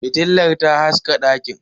Fitilar ta haska dakin.